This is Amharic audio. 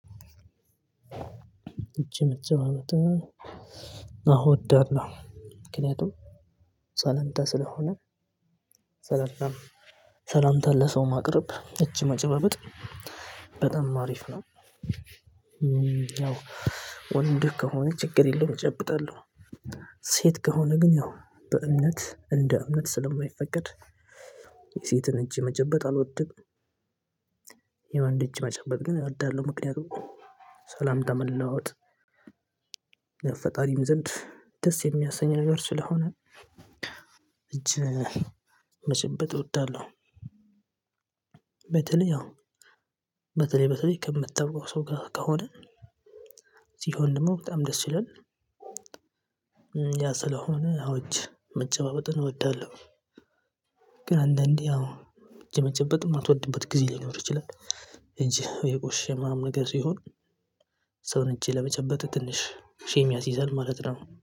እጅመጨባበጥ አወ እወዳለሁ ምክንያቱም ሰለምታ ስለሆነ ሰላምታ ሰላምታ ለሰው ማቅረብ እጅ መጨባበጥ በጣም አሪፍ ነው። ያው ወንድህ ከሆነ ችግር የለውም እጨብጣለሁ። ሴት ከሆነ ግን ያው በእምነት እንደ እምነት ስለማይፈቀድ የሴትን እጅ መጨበጥ አልወድንም። የወን እጅ መጨበጥ ግን እወዳለሁ ምክንያቱም ሰላምታ መለዋወጥ ፈጣሪም ዘንድ ደስ የሚያሰኝ ነገር ስለሆነ መጨበጥ እወዳለሁ። በተለይ አሁን በተለይ በተለይ ከምታውቀው ሰው ጋር ከሆነ ሲሆን ደግሞ በጣም ደስ ይለናል። ያ ስለሆነ አዎ እጅ መጨባበጥን እወዳለሁ። ግን አንዳንዴ አዎ የመጨበጥ የማትወድበት ጊዜ ሊኖር ይችላል። እጅህ የቆሸሸ ምናምን ነገር ሲሆን የሰውን እጅ ለመጨበጥ ትንሽ ሼም ያሲዛል ማለት ነው